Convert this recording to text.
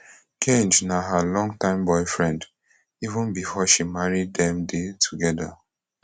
geng na her long time boyfriend even before she marry dem dey togeda